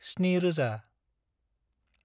7000